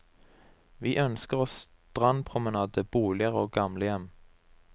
Vi ønsker oss strandpromenade, boliger og gamlehjem.